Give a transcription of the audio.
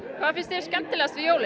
hvað finnst þér skemmtilegast við jólin